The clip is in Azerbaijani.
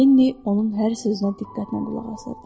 Lenni onun hər sözünə diqqətlə qulaq asırdı.